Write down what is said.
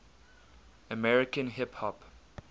american hip hop